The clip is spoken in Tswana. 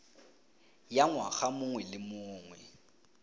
ya ngwaga mongwe le mongwe